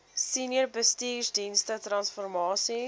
senior bestuursdienste transformasie